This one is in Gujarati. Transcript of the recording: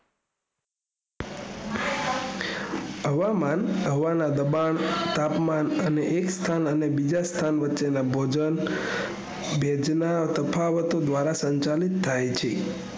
હવામાન હવાના દબાણ તાપમાન અને એક સ્થાન અને બીજા સ્થાન વચ્ચે ના ભેજ ના તફાવતો દ્વારા સંચાલિત થાય છે